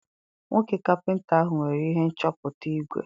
Nwoke kapịnta ahụ nwere ihe nchọpụta igwe.